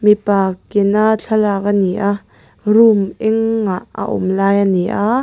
mipa ke na thlalak a ni a room engah a awm lai a ni aaa.